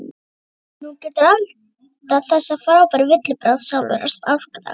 Nú geturðu eldað þessa frábæru villibráð sjálfur á aðfangadag.